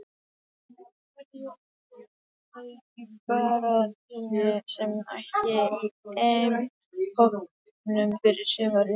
Hverjir eru úr leik í baráttunni um sæti í EM-hópnum fyrir sumarið?